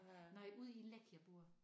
Nej ude i Leck jeg bor